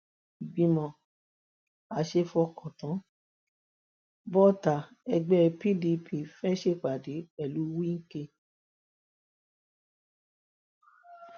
ìgbìmọ aṣeéfọkàntàn bọta ẹgbẹ pdp fee ṣèpàdé pẹlú wike